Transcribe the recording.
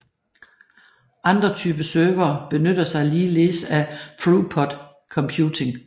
Andre typer servere benytter sig ligeledes af throughput computing